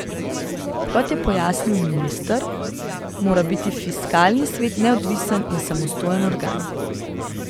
Kot je pojasnil minister, mora biti fiskalni svet neodvisen in samostojen organ.